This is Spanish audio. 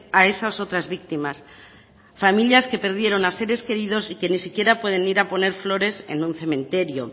a esas otras víctimas a familias que perdieron a seres queridos y que ni siquiera pueden ir a poner flores en un cementerio